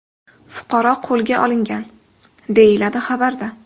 Fuqaro qo‘lga olingan”, deyiladi xabarda.